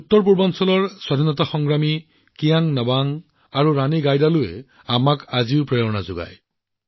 উত্তৰপূৰ্বাঞ্চলৰ কিয়াং নোবাং আৰু ৰাণী গাইডিনলিউৰ দৰে স্বাধীনতা সংগ্ৰামীৰ পৰাও আমি বহুত প্ৰেৰণা পাওঁ